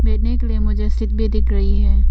बैठने के लिए मुझे सीट भी दिख रही है।